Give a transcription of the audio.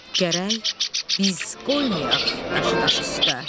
Gərək biz qoymayaq daşı daş üstə.